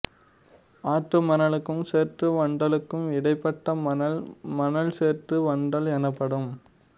ஆற்று மணலுக்கும் சேற்று வண்டலுக்கும் இடைப்பட்ட மணல் மணல் சேற்று வண்டல் எனப்படும்